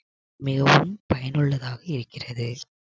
மிகவும் பயனுள்ளதாக இருக்கிறது